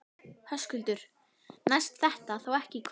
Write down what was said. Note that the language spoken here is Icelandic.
Höskuldur: Næst þetta þá ekki í kvöld?